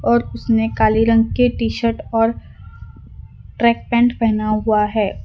और उसने काले रंग के टी_शर्ट और ट्रैक पैंट पहेना हुआ है।